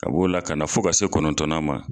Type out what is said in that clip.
Ka b'o la ka na fo ka se kɔnɔntɔnnan ma.